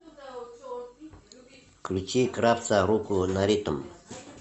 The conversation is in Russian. включи кравца руку на ритм